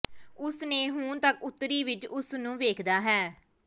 ਉਸ ਨੇ ਹੁਣ ਤੱਕ ਉੱਤਰੀ ਵਿਚ ਉਸ ਨੂੰ ਵੇਖਦਾ ਹੈ